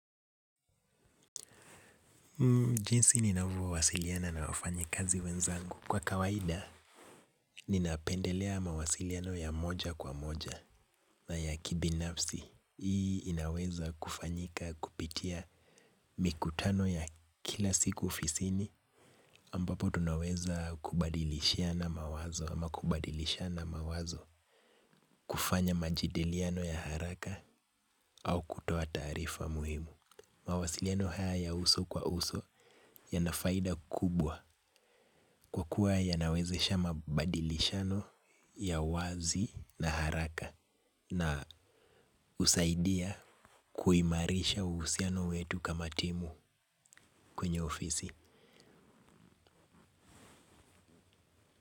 Jinsi ninavyo wasiliana na wafanyi kazi wenzangu. Kwa kawaida, ninapendelea mawasiliano ya moja kwa moja na ya kibinafsi. Hii inaweza kufanyika kupitia mikutano ya kila siku ofisini, ambapo tunaweza kubadilishiana mawazo ama kubadilishana mawazo kufanya majadiliano ya haraka au kutoa taarifa muhimu. Mawasiliano haya ya uso kwa uso yana faida kubwa kwa kuwa yanawezesha mabadilishano ya wazi na haraka na husaidia kuimarisha uhusiano wetu kama timu kwenye ofisi.